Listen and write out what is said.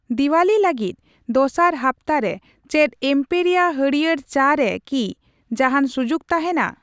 ᱫᱤᱣᱟᱞᱤ ᱞᱟᱹᱜᱤᱛ ᱫᱚᱥᱟᱨ ᱦᱟᱯᱛᱟ ᱨᱮ ᱪᱮᱫ ᱮᱢᱯᱮᱨᱤᱭᱟ ᱦᱟᱹᱲᱭᱟᱹᱨ ᱪᱟ ᱨᱮ ᱠᱤ ᱡᱟᱦᱟᱸᱱ ᱥᱩᱡᱩᱠ ᱛᱟᱦᱮᱸᱱᱟ ?